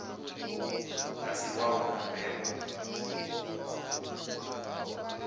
a si wau nga mbebo